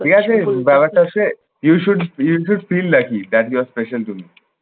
ঠিক আছে ব্যাপারটা হচ্ছে you should you should feel like we that you are special to me